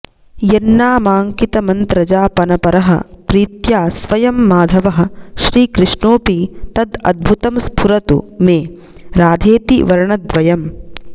यन्नामाङ्कितमन्त्रजापनपरः प्रीत्या स्वयं माधवः श्रीकृष्णोऽपि तद् अद्भुतं स्फुरतु मे राधेति वर्णद्वयम्